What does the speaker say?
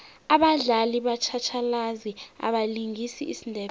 abadlali batjhatjhalazi abalingisa isindebele